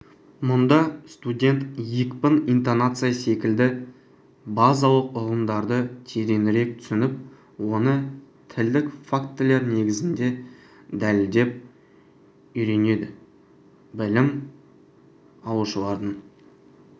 мұнда студент екпін интонация секілді базалық ұғымдарды тереңірек түсініп оны тілдік фактілер негізінде дәлелдеп үйренедіблім алушылардың